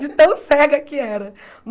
De tão cega que era.